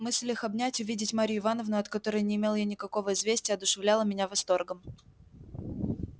мысль их обнять увидеть марью ивановну от которой не имел я никакого известия одушевляла меня восторгом